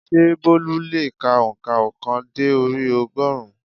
Sé Bólú le è ka ònkà óòkan dé orí ogórùn ún?